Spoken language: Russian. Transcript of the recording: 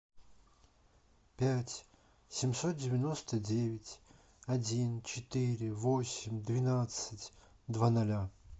пять семьсот девяносто девять один четыре восемь двенадцать два ноля